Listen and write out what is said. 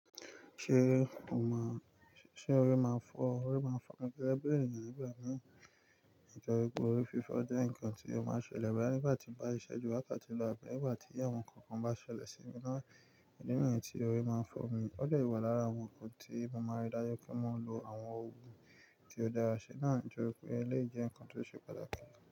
Ṣé o máa, ṣe orí máa ń fọ́ ọ? Orí máa ń fọ́ mi gẹ́gẹ́ bí ènìyàn nígbà mìíràn. Nitoripe orí fífọ́ jẹ́ nǹkan tí ó máa ń ṣẹlẹ̀ boya nígbà tí mo bá ń ṣisẹ́ jú wákàtí lọ́ abi nígbà tí àwọn nǹkan kan bá ṣẹlẹ̀ sí mi náà. Idi niyi tí orí máa ń fọ́ mi, ó dè wà lára awon nkan tí mo máa rí dájú pé mo ń lo àwọn oogun tí ó dára ṣi náà ju pé eléyii je nkan tó ṣe pataki.